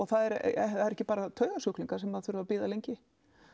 það eru ekki bara taugasjúklingar sem þurfa að bíða lengi